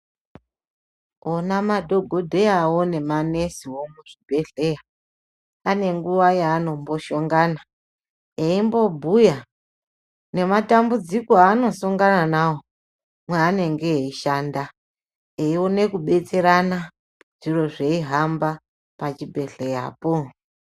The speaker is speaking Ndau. Ona madhokodheyawo ne manesiwo muzvibhedhleya panenguwa yaanombohlongana aimbobhuya ngematambudziko aanosongana nawo paanenge eishanda. Eiona kubetserana zviro zveihamba pachibhedhleyapo.